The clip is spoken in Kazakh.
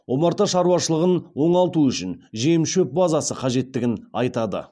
омарта шаруашылығын оңалту үшін жем шөп базасы қажеттігін айтады